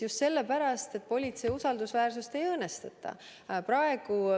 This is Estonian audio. Just sellepärast, et politsei usaldusväärsust ei õõnestataks.